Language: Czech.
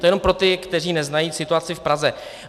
To jenom pro ty, kteří neznají situaci v Praze.